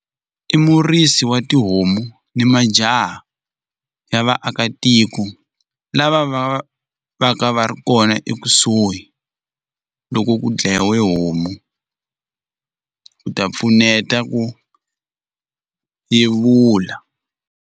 I murisi wa tihomu ni majaha ya vaakatiko lava va va ka va ri kona ekusuhi loko ku dlayiwe homu ku ta pfuneta ku yevula.